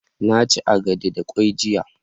na ci agade da kwai jiya